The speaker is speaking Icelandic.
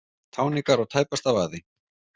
Táningar á tæpasta vaði